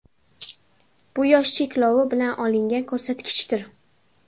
Bu yosh cheklovi bilan olingan ko‘rsatkichdir.